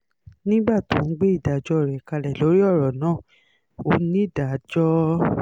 nígbà tó ń gbé ìdájọ́ rẹ̀ kalẹ̀ lórí ọ̀rọ̀ náà onídàájọ́ l